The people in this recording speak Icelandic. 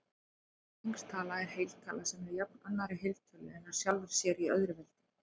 Ferningstala er heiltala sem er jöfn annarri heiltölu eða sjálfri sér í öðru veldi.